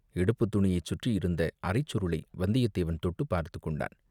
இடுப்புத்துணியைச் சுற்றியிருந்த அரைச் சுருளை வந்தியத்தேவன் தொட்டுப் பார்த்துக் கொண்டன்.